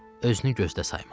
Özünü gözdə sayma.